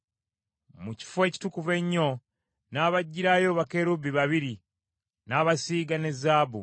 Mu Kifo Ekitukuvu Ennyo n’abajjirayo bakerubi babiri n’abasiiga ne zaabu.